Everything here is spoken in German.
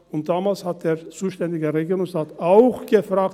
Und damals hat der zuständige Regierungsrat auch gefragt: